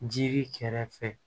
Jiri kɛrɛfɛ